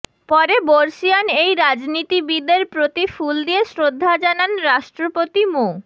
পরে বর্ষীয়ান এই রাজনীতিবিদের প্রতি ফুল দিয়ে শ্রদ্ধা জানান রাষ্ট্রপতি মো